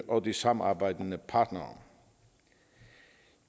og de samarbejdende partnere